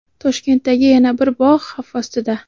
Toshkentdagi yana bir bog‘ xavf ostida.